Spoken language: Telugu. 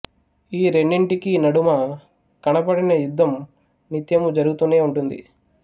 ఈ రెండింటికీ నడుమ కనపడని యుద్ధం నిత్యము జరుగుతూనే ఉంటుంది